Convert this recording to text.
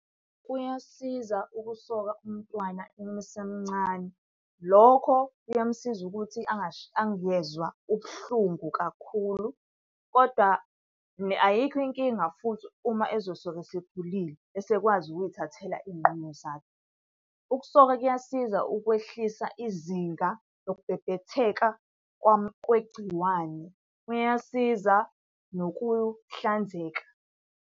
Kuyasiza ukusoka umntwana uma esemncane. Lokho kuyamusiza ukuthi angezwa ubuhlungu kakhulu kodwa, ayikho inkinga futhi uma ezosoka esekhulile, esekwazi ukuy'thathela iy'nqumo zakhe. Ukusoka kuyasiza ukwehlisa izinga lokubhebhetheka kwegciwane, kuyasiza nokuhlanzeka.